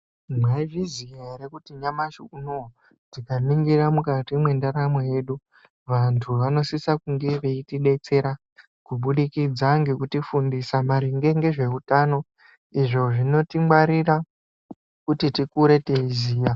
Mwaizviziya ere kuti nyamashi unowu tikaningira mukati mwendaramo yedu vantu vanosisa kunge veitidetsera kubudikidza ngekutifundisa maringe ngezveutano izvo zvinotingwarira kuti tikure teiziya.